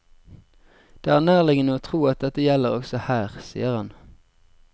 Det er nærliggende å tro at dette gjelder også her, sier han.